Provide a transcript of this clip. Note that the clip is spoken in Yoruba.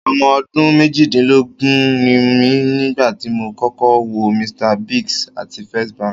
Ọmọ ọdún méjìdínlógún ni mí nígbà tí mo kọ́kọ́ wọ Mr Biggs àti First Bank.